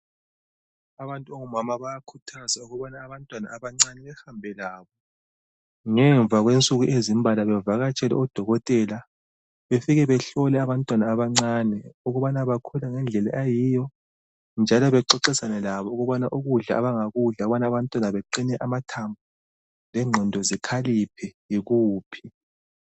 Abantu abangomama bayakhuthazwa ukuba abantwana abancane behambe labo ngemva kwensuku ezimbalwa bavakatshele odokotela befike behole abantwana abancane ukubana bakhula ngendlela eyiyo njalo bexoxisane labo ukubana ukudla abangakudla kudala abantwana baqine amathambo lengqondo zikhaliphe yikuphi.